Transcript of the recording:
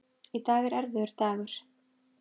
Í dag er erfiður dagur.